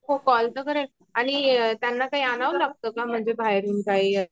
हो कॉल तर करेल आणि त्यांना काही अनाव लागत का म्हणजे बाहेरून काही